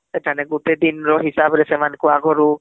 ସେଠାରେ ଗୋଟେ ଦିନ ର ହିସାବ ରେ ସେମାନ ଙ୍କୁ ଆଗରୁ